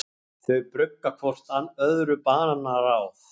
Þau brugga hvort öðru banaráð.